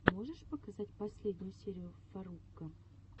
можешь показать последнюю серию фарруко